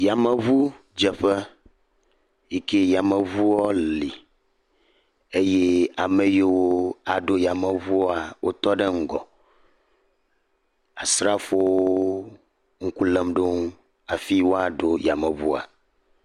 Yameŋudzeƒe, yi ke yameŋu li eye ame yiwo aɖo yameŋua wotɔ ɖe ŋgɔ, asrafowo ŋku lém ɖe wo ŋu hafi woaɖo yameŋua.